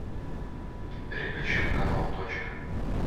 переключи на канал точка